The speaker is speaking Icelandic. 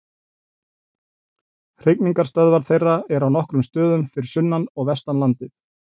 Hrygningarstöðvar þeirra eru á nokkrum stöðum fyrir sunnan og vestan landið.